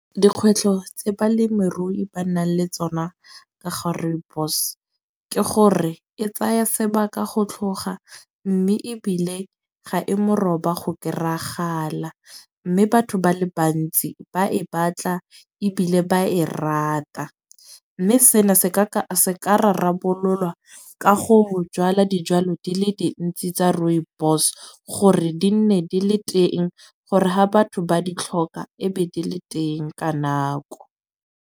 Dikgwetlho tse balemirui ba nang le tsona ka ga rooibos, ke gore e tsaya sebaka go tlhoga. Mme ebile ga e mo roba go kry-agala. Mme batho ba le bantsi ba e batla ebile ba e rata. Mme sena se ka ka se ka rarabololwa ka go jwala dijwalo di le dintsi tsa rooibos, gore di nne di le teng gore ha batho ba di tlhoka e be di le teng ka nako.